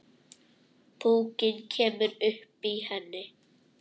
Púkinn kemur upp í henni.